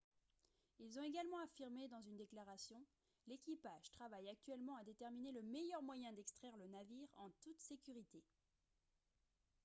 ils ont également affirmé dans une déclaration :« l'équipage travaille actuellement à déterminer le meilleur moyen d'extraire le navire en toute sécurité »